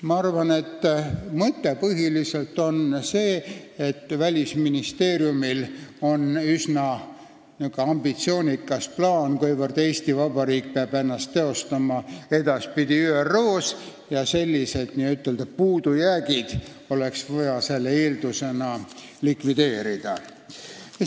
Ma arvan, et mõte on põhiliselt see, et Välisministeeriumil on üsna ambitsioonikas plaan, et Eesti Vabariik peab ennast edaspidi ÜRO-s teostama ja sellised n-ö puudujäägid oleks vaja selle eeldusena likvideerida.